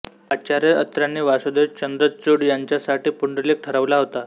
आचार्य अत्र्यांनी वासुदेव चंद्रचूड यांच्यासाठी पुंडलिक ठरवला होता